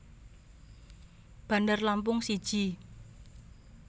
Bandar Lampung siji